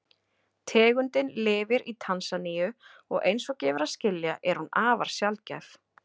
Tegundin lifir í Tansaníu og eins og gefur að skilja er hún afar sjaldgæf.